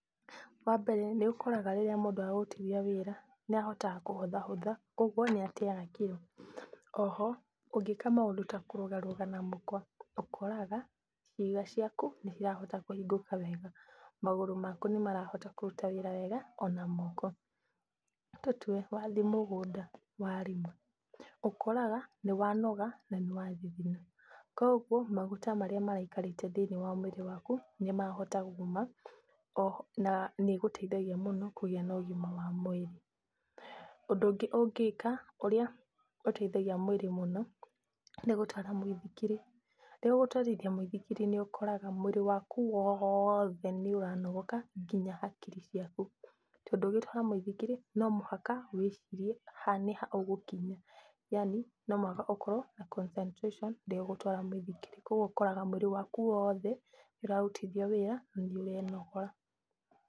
Wa mbere nĩũkoraga rĩrĩa mũndũ ararutithia wĩra nĩahotaga kũhũthahũtha kwoguo nĩateyaga kiro, o ho ũngĩka maũndũ ta kũrũgarũga na mũkwa, ũkoraga ciĩga ciaku nĩ cirahota kũhingũka wega, magũrũ maku nĩmarahota kũruta wĩra wega ona moko. Nĩ tũtue wathiĩ mũgũnda warima ũkoraga nĩ wanoga na nĩwathithina kogwo maguta marĩa maraikarĩte thĩiniĩ wa mũĩrĩ waku nĩmahota kuuma, o ho na nĩĩgũteithagia mũno kũgĩa na ũgima wa mũĩrĩ. Ũndũ ũngĩ ũngĩka ũrĩa ũteithagia mũĩrĩ mũno nĩgũtwara mũithikiri, rĩrĩa ũgũtwarithia mũithikiri nĩ ũkoraga mwĩrĩ waku woothe nĩũranogoka nginya hakiri ciaku, tondũ ũgĩtwara mũithikiri no mũhaka wĩcirie haha nĩ ha ũgũkinya, yaani no mũhaka ũkorwo na concentration rĩrĩa ũgũtwara mũithikiri kwoguo ũkoraga mwĩrĩ waku woothe nĩ ũraũrutithia wĩra na nĩ ũrenogora.